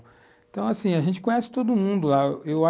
Então, assim, a gente conhece todo mundo lá. Eu acho,